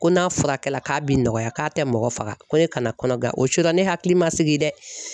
Ko n'a furakɛ k'a bi nɔgɔya k'a tɛ mɔgɔ faga ko ne kana kɔnɔbara o sira ne hakili ma sigi dɛ